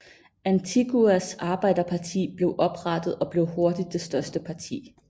Antiguas Arbejderparti blev oprettet og blev hurtigt det største parti